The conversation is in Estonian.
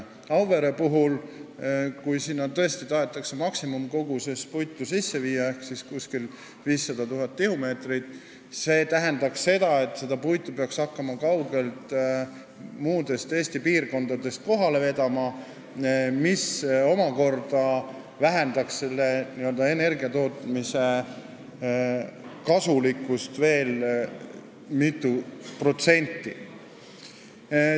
Auvere puhul, kui sinna tõesti tahetakse maksimumkoguses puitu sisse viia ehk siis kuskil 500 000 tihumeetrit, see tähendab seda, et seda puitu peaks hakkama kaugelt, muudest Eesti piirkondadest kohale vedama, mis omakorda vähendaks selle n-ö energiatootmise kasulikkust veel mitu protsenti.